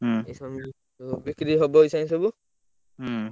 ହୁଁ ଏଇସବୁ ବିକ୍ରି ହବ ଏଇଛିକା ସବୁ ହୁଁ।